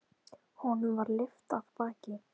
Honum var lyft af baki.